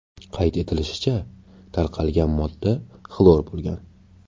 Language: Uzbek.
Qayd etilishicha, tarqalgan modda xlor bo‘lgan.